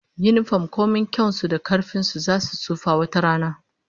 Yinifom komai kyan su da karfin su, zasu tsufa wata rana